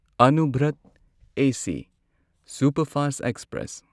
Anuvrat AC superfast express